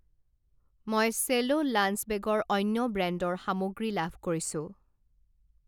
মই চেলো লাঞ্চ বেগৰ অন্য ব্ৰেণ্ডৰ সামগ্ৰী লাভ কৰিছোঁ।